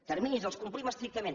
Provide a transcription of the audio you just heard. terminis els complim estrictament